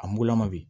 A mugulama bi